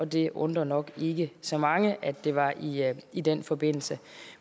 det undrer nok ikke så mange at det var i i den forbindelse